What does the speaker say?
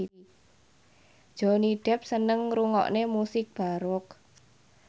Johnny Depp seneng ngrungokne musik baroque